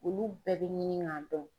Olu bɛɛ bɛ ɲini k'a dɔn.